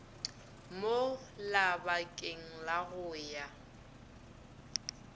mo labakeng la go ya